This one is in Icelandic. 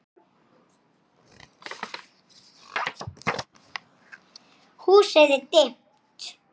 Hvar endar ádeila?